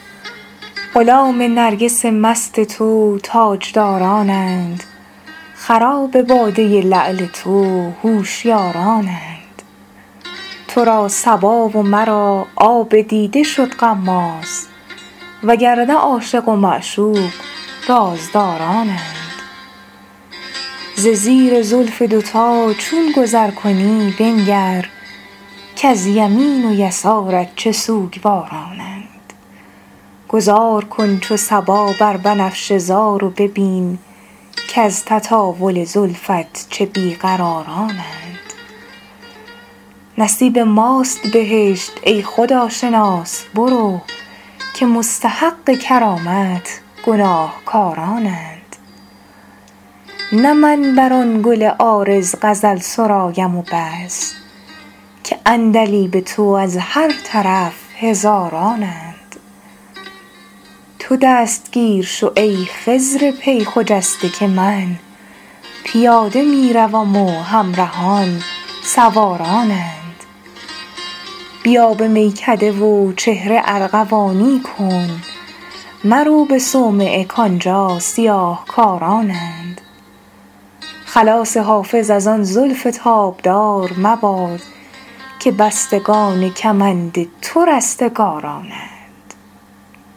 غلام نرگس مست تو تاجدارانند خراب باده لعل تو هوشیارانند تو را صبا و مرا آب دیده شد غماز و گر نه عاشق و معشوق رازدارانند ز زیر زلف دوتا چون گذر کنی بنگر که از یمین و یسارت چه سوگوارانند گذار کن چو صبا بر بنفشه زار و ببین که از تطاول زلفت چه بی قرارانند نصیب ماست بهشت ای خداشناس برو که مستحق کرامت گناهکارانند نه من بر آن گل عارض غزل سرایم و بس که عندلیب تو از هر طرف هزارانند تو دستگیر شو ای خضر پی خجسته که من پیاده می روم و همرهان سوارانند بیا به میکده و چهره ارغوانی کن مرو به صومعه کآنجا سیاه کارانند خلاص حافظ از آن زلف تابدار مباد که بستگان کمند تو رستگارانند